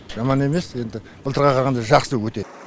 жамас емес енді былтырға қарағанда жақсы өте